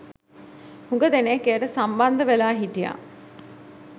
හුඟ දෙනෙක් එයට සම්බන්ධ වෙලා හිටියා